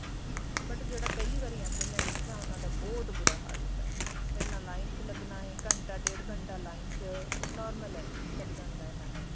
but ਜਿਹੜੇ ਪਹਿਲੀ ਵਾਰੀ ਆਉਂਦੇ ਮੈਂ ਦੇਖਿਆ ਉਹਨਾ ਦਾ ਬਹੁਤ ਬੁਰਾ ਹਾਲ ਹੁੰਦਾ ਪਹਿਲਾਂ line ਚ ਲੱਗਣਾ ਹੈ ਘੰਟਾ ਡੇਡ ਘੰਟਾ line ਚ normal ਹੈ ਲੱਗ ਜਾਂਦਾ ਇੰਨਾ time